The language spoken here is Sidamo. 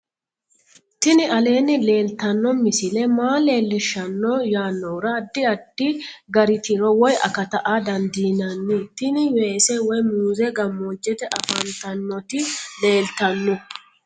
tini aleenni leeltanno misile maa leellishshanno yaannohura addi addi gari tiro woy akata aa dandiinanni tini weese woy muuze gammoojjete afantannoti leeltanno